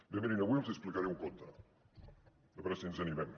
bé mirin avui els hi explicaré un conte a veure si ens ani·mem